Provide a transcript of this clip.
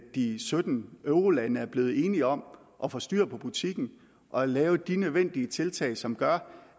de sytten eurolande er blevet enige om at få styr på butikken og lave de nødvendige tiltag som gør